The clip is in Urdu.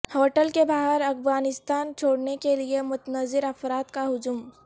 ہوٹل کے باہر افغانستان چھوڑنے کے لیے منتظر افراد کا ہجوم